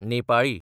Nepali